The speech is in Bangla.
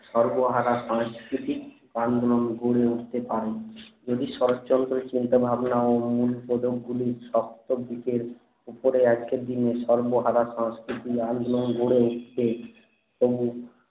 সর্বহারা সাংস্কৃতিক আন্দোলন গড়ে উঠতে পারে যদি শরৎচন্দ্রর চিন্তা ভাবনা ও মূল পদক গুলি সপ্ত দিকের উপরে আজকের দিনে সর্বহারা সাংস্কৃতিক আন্দোলন গড়ে উঠতে প্রমুখ